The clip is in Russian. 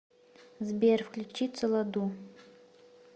сбер включи цолоду